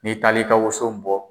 Ni taali ka woso bɔ.